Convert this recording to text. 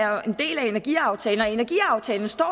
jo er en del af energiaftalen og i energiaftalen står